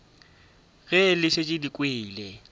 ge le šetše le kwele